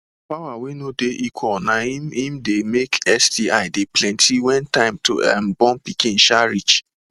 power wey no dey equal na im im de make sti de plenty wen time to um born pikin um rish